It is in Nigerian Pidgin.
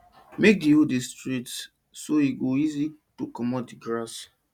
make di hole dey straight so e go easy to comot di grass